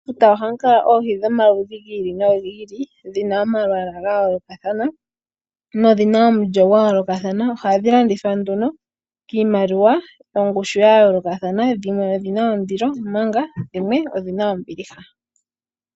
Mefuta ohamu kala oohi dhomaludhi gi ili nogi ili dhina omalwala ga yoolokathana no dhi na omulyo gwa yoolokathana. Ohadhi landithwa kiimaliwa yongushu ya yoolokathana dhimwe odhi na ondilo omanga dhimwe odhi na ombiliha.